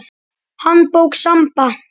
Handbók Samba.